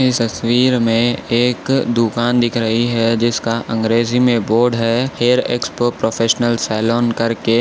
तस्वीर में दुकान दिख रही है जिसका अंग्रेजी में बोर्ड है हेयर एक्सपर्ट प्रोफेशनल सेलोन करके।